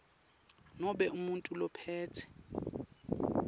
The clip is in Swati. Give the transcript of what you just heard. nobe umuntfu lophetse